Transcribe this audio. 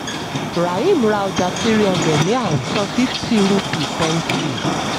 rahim rà ọjà three hundred ní àwìn; san fifty rupee pẹ̀nsì